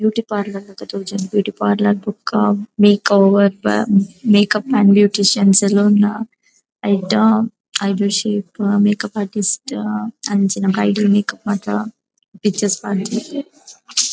Beauty parlour ಲೆಕ ತೋಜುಂಡು beauty parlour ಬೊಕ್ಕ ಮೇಕ್ ಓವರ್ ದ ಮೇಕಪ್ ಆಂಡ್ ಬ್ಯೂಟಿಷಿಯನ್ಸ್ ಲ ಉಲ್ಲ ಐಟ್ ಐಬ್ರೋ ಶೇಪ್ ಮೇಕಪ್ ಆರ್ಟಿಸ್ಟ್ ಅಂಚಿನ ಬ್ರೈಡಲ್ ಮೇಕಪ್ ಮಾತ ಪಿಕ್ಚರ್ಸ್ ಪಾರ್ದೆರ್.